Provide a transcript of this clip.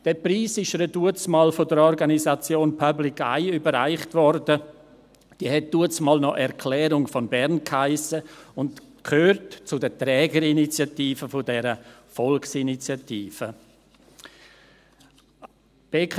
Der Preis wurde ihr damals von der Organisation Public Eye überreicht, die damals noch Erklärung von Bern hiess und zu den Trägerinitiativen der Volksinitiative gehört.